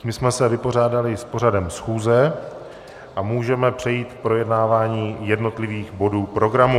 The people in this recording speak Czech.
Tím jsme se vypořádali s pořadem schůze a můžeme přejít k projednávání jednotlivých bodů programu.